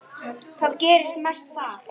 Það gerist mest þar.